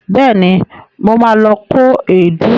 Bẹẹ̀ni, mo ma lọ kó èédú